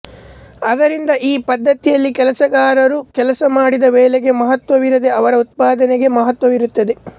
ಆದ್ದರಿಂದ ಈ ಪದ್ಧತಿಯಲ್ಲಿ ಕೆಲಸಗಾರರು ಕೆಲಸ ಮಾಡಿದ ವೇಳೆಗೆ ಮಹತ್ವವಿರದೇ ಅವರ ಉತ್ಪಾದನೆಗೆ ಮಹತ್ವವಿರುತ್ತದೆ